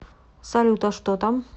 салют а что там